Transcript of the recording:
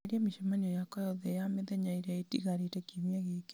eheria mĩcemanio yakwa yothe ya mĩthenya ĩria itigarĩte kiumia gĩkĩ